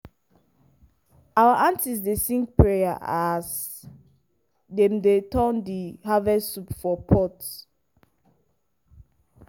our aunties dey sing prayer as dem dey turn di harvest soup for pot.